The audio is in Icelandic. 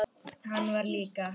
Hann var líka.